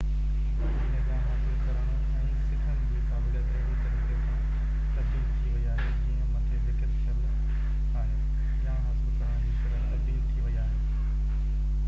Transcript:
جيئن ڄاڻ حاصل ڪرڻ ۽ سکڻ جي قابليت اهڙي طريقي سان تبديل ٿي وئي آهي جيئن مٿي ذڪر ٿيل آهي ڄاڻ حاصل ڪرڻ جي شرح تبديل ٿي وئي آهي